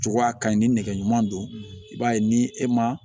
Jogoya ka ɲi ni nɛgɛ ɲuman don i b'a ye ni e ma